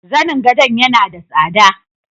Zanin gado yana da tsada.